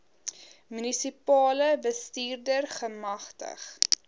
munisipale bestuurder gemagtig